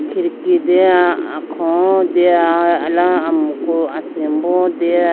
khidki dya akholo deya eya amku asimbo deya.